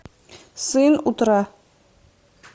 сын утра